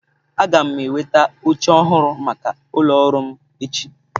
Aga m enweta oche ọhụrụ maka ụlọ ọrụ m echi.